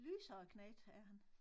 Lysere knægt er han